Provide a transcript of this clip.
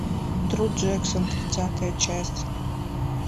тру джексон тридцатая часть